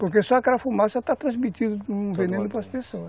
Porque só aquela fumaça está transmitindo um veneno para as pessoas.